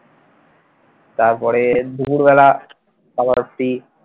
তারপরে দুপুরবেলা খাবার free